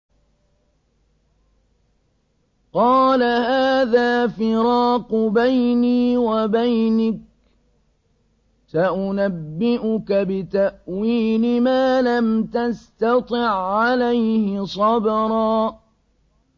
قَالَ هَٰذَا فِرَاقُ بَيْنِي وَبَيْنِكَ ۚ سَأُنَبِّئُكَ بِتَأْوِيلِ مَا لَمْ تَسْتَطِع عَّلَيْهِ صَبْرًا